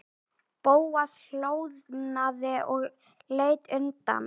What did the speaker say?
Bóas hljóðnaði og leit undan.